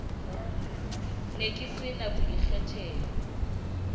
ne ke se na boikgethelo